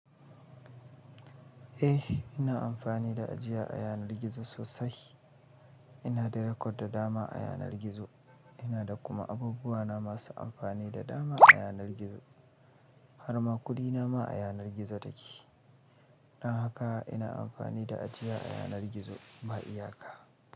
Eh, ina amfani da ajiya ayanar gizo sosai. Ina da record da dama a yanar gizo. Ina da kuma abubuwa na masu amfani da dama a yanar gizo. Har ma kuɗi na ma a yanar gizo take. Don haka ina amfani da ajiya a yanar gizo ba iyaka.